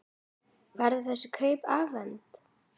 Verða þessi kaup efnd?